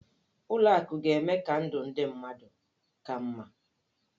Ụlọ akụ ga-eme ka ndụ ndị mmadụ ka mma.